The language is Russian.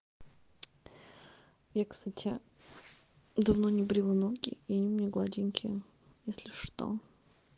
и кстати давно не брила ноги и они у меня гладенькие если что